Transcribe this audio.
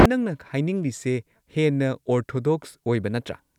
ꯅꯪꯅ ꯍꯥꯏꯅꯤꯡꯂꯤꯁꯦ ꯍꯦꯟꯅ ꯑꯣꯔꯊꯣꯗꯣꯛꯁ ꯑꯣꯏꯕ ꯅꯠꯇ꯭ꯔꯥ?